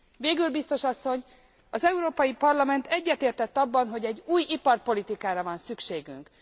Végül, Biztos Asszony, az Európai Parlament egyetértett abban, hogy egy új iparpolitikára van szükségünk.